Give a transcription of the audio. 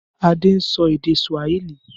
Adé ń sọ èdè Swahili.